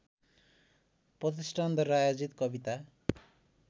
प्रतिष्ठानद्वारा आयोजित कविता